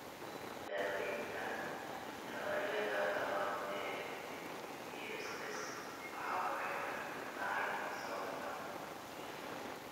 Daawaynta noocyada labaad ee BSS waxay ku xidhan tahay sababta.